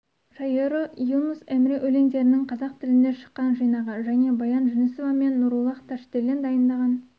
шайыры юнус емре өлеңдерінің қазақ тілінде шыққан жинағы және баян жүнісова мен нуруллаһ ташделен дайындаған